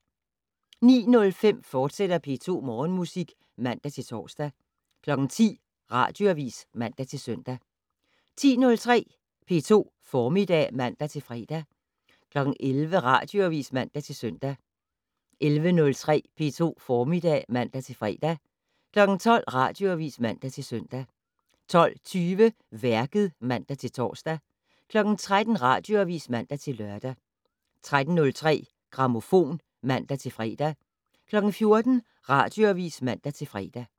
09:05: P2 Morgenmusik, fortsat (man-tor) 10:00: Radioavis (man-søn) 10:03: P2 Formiddag (man-fre) 11:00: Radioavis (man-søn) 11:03: P2 Formiddag (man-fre) 12:00: Radioavis (man-søn) 12:20: Værket (man-tor) 13:00: Radioavis (man-lør) 13:03: Grammofon (man-fre) 14:00: Radioavis (man-fre)